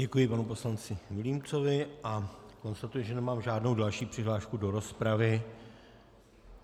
Děkuji panu poslanci Vilímcovi a konstatuji, že nemám žádnou další přihlášku do rozpravy.